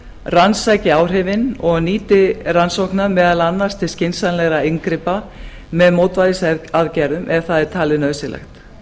rannsaki áhrifin og nýti rannsóknir meðal annars til skynsamlegra inngripa meðal annars með mótvægisaðgerðum ef það er talið nauðsynlegt